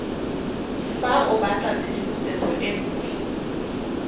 fa o batlatshedimosetso e nngwe